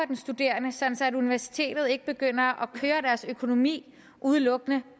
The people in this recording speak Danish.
den studerende så universitetet ikke begynder at køre deres økonomi udelukkende